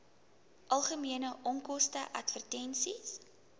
algemene onkoste advertensies